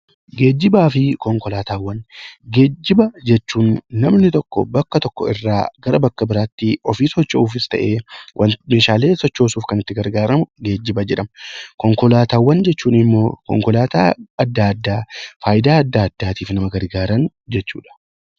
Geejjibaa fi Konkolaataawwan: Geejjiba jechuun namoonni tokko bakka tokko irraa bakka biraatti ofii socho'uufis ta'ee meeshaalee sochoosuuf kan itti gargaaraman geejjiba jedhama. Konkolaataawwan jechuun immoo konkolaataa adda addaa faayidaa adda addaatiif nama gargaaran jechuudha.